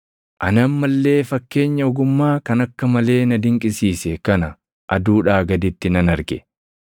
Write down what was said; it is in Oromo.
Ani amma illee fakkeenya ogummaa kan akka malee na dinqisiise kana aduudhaa gaditti nan arge: